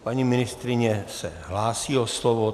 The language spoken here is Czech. Paní ministryně se hlásí o slovo.